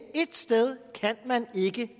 sted kan man ikke